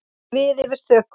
Við yfir þökunum.